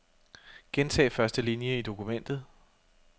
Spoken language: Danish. Gentag første linie i dokumentet.